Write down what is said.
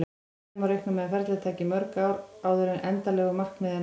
Síðan má reikna með að ferlið taki mörg ár áður en endanlegu markmiði er náð.